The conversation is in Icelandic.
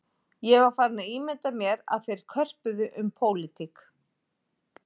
Ég var farinn að ímynda mér að þeir körpuðu um pólitík